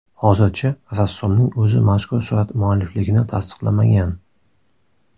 Hozircha rassomning o‘zi mazkur surat muallifligini tasdiqlamagan.